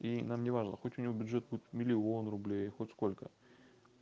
и нам неважно хоть у него бюджет будет миллион рублей хоть сколько